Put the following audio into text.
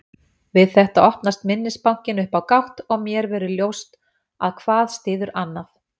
Við þetta opnast minnisbankinn upp á gátt og mér verður ljóst að hvað styður annað.